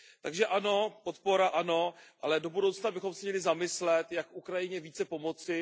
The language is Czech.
Takže ano, podpora ano, ale do budoucna bychom se měli zamyslet, jak Ukrajině více pomoci.